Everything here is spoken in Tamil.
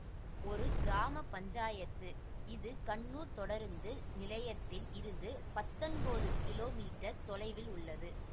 ஒரு கிராம பஞ்சாயத்து இது கண்ணூர் தொடருந்து நிலையத்தில் இருந்து பத்தொம்போது கிலோ மீட்டர் தொலைவில் உள்ளது